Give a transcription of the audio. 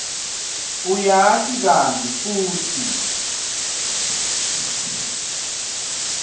uyati kantsi futsi